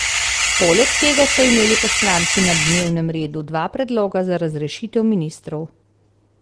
Poleg tega so imeli poslanci na dnevnem redu dva predloga za razrešitev ministrov.